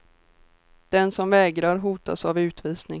Den som vägrar hotas av utvisning.